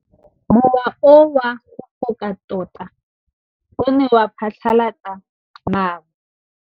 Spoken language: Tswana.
Mowa o wa go foka tota o ne wa phatlalatsa maru.